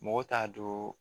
Mɔgɔw t'a don